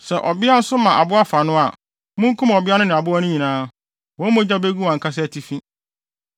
“ ‘Sɛ ɔbea nso ma aboa fa no a, munkum ɔbea no ne aboa no nyinaa; wɔn mogya begu wɔn ankasa atifi.